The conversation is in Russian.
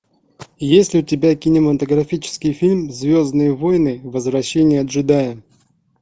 есть ли у тебя кинематографический фильм звездные войны возвращение джедая